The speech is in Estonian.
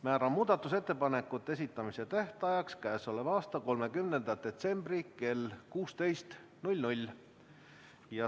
Määran muudatusettepanekute esitamise tähtajaks k.a 13. detsembri kell 13.